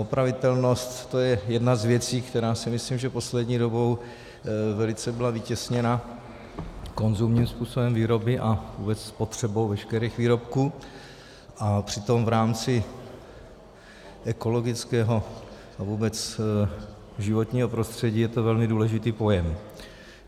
Opravitelnost, to je jedna z věcí, která si myslím, že poslední dobou velice byla vytěsněna konzumním způsobem výroby a vůbec spotřebou veškerých výrobků, a přitom v rámci ekologického a vůbec životního prostředí je to velmi důležitý pojem.